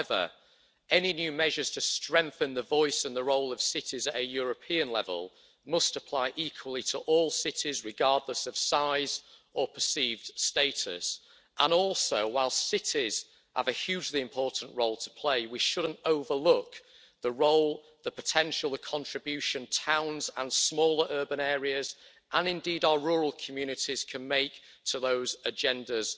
However, any new measures to strengthen the voice and the role of cities at European level must apply equally to all cities, regardless of size or perceived status. Furthermore, while cities have a hugely important role to play, we shouldn't overlook the role, the potential and the contribution that towns and small urban areas, and indeed our rural communities, can make to those agendas